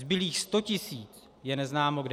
Zbylých 100 tisíc je neznámo kde.